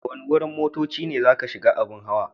Daga wani wurin motocci ne zaka shiga abun hawan?